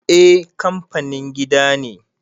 eh kanfanin gida ne